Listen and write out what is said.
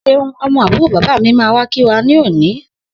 Seun, õmõ ábùró bàbá mi máa wá kí wa ní òní